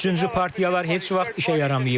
Üçüncü partiyalar heç vaxt işə yaramayıb.